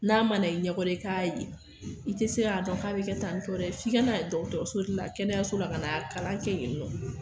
N'a ma na i ɲɛ kɔrɔ i ka ye i tɛ se ka dɔn k'a be kɛ tan to dɛ, f'i ka na so la, kɛnɛyaso la ka kalan kɛ yeni nɔ.